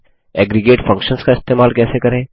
aggregate functions का इस्तेमाल कैसे करें